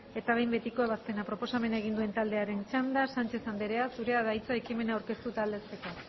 eta behin betiko ebazpena proposamena egin den taldearen txanda sánchez anderea zurea da hitza ekimena aurkeztu eta aldezteko